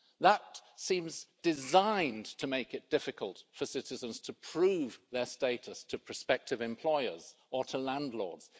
That seems designed to make it difficult for citizens to prove their status to prospective employers or to landlords.